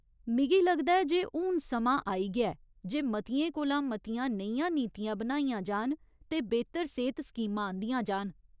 मिगी लगदा ऐ जे हून समां आई गेआ ऐ जे मतियें कोला मतियां नेहियां नीतियां बनाइयां जान ते बेह्तर सेह्त स्कीमां आंह्दियां जान।